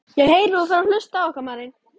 Hvað gerir hann í dag?